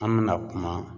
An bɛna kuma